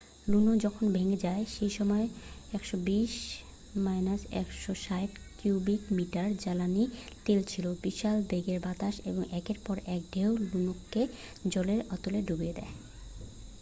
লুনো যখন ভেঙে যায় সেই সময় 120-160 কিউবিক মিটার জ্বালানি তেল ছিল বিশাল বেগের বাতাস এবং একের পর এক ঢেউ লুনোকে জলের অতলে ডুবিয়ে দেয়